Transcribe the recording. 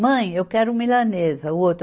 Mãe, eu quero milanesa. o outro